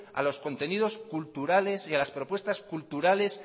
a los contenidos culturales y a las propuestas culturales